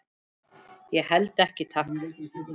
Ég held ekki, takk.